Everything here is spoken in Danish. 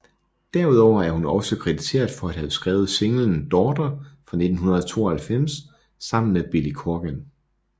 Derudover er hun også krediteret for at have skrevet singlen Daughter fra 1992 sammen med Billy Corgan